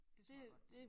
Det tror jeg godt du må